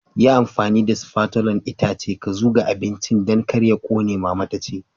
Yi amfani da spatulan itace ka zuga abincin Dan kar ya ƙone, mama ta ce.